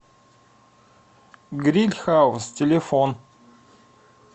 гриль хаус телефон